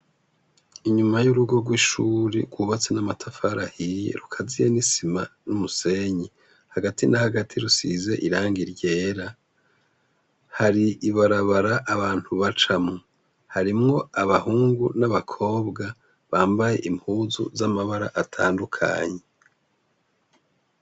Inyuma y’urugo rw’ishure rwubatse namatafari ahiye rukaziye n’isima numusenyi hagati na hagati rusize irangi ryera hari ibarabara abantu bacamwo harimwo abahungu n’abakobwa bambaye impuzu z’amabara atandukanye.